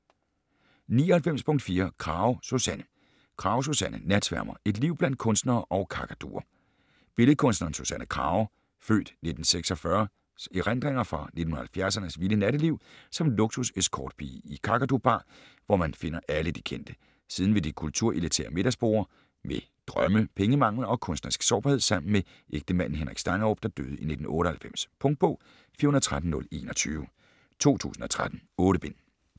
99.4 Krage, Susanne Krage, Susanne: Natsværmer: et liv blandt kunstnere og kakaduer Billedkunstneren Susanne Krages (f. 1946) erindringer fra 1970'ernes vilde natteliv som luksus-escortpige i Kakadu Bar, hvor man finder alle de kendte. Siden ved de kulturelitære middagsborde, med drømme, pengemangel og kunstnerisk sårbarhed sammen med ægtemanden Henrik Stangerup, der døde i 1998. Punktbog 413021 2013. 8 bind.